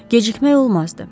Gecikmək olmazdı.